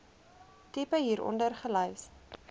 tipe hieronder gelys